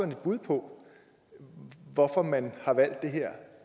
et bud på hvorfor man har valgt det her